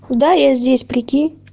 да я здесь прикинь